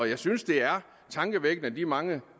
jeg synes det er tankevækkende at de mange